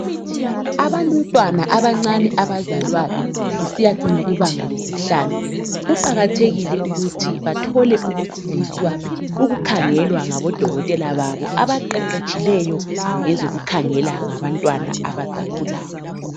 Abantwana abancane abazalwayo kusiyacina kubanga lesihlanu, kuqakathekile ukuthi bathole ukukhangelwa ngabodokotela babo abaqeqetshileyo ngezokukhangela ngabantwana abasakhulayo.